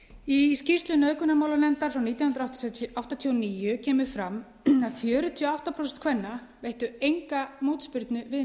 í skýrslu nauðgunarmálanefndar frá nítján hundruð áttatíu og níu kemur fram að fjörutíu og átta prósent kvenna veittu enga mótspyrnu við